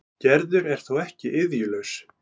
Gerður er þó ekki iðjulaus.